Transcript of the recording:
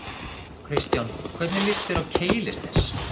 Kristján: Hvernig lýst þér á Keilisnes?